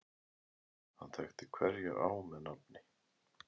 Hann þekkti hverja á með nafni.